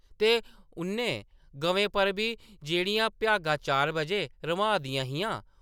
ते उ’नें गवें पर बी जेह्‌‌ड़ियां भ्यागा चार बजे रम्हाऽ दियां हियां ।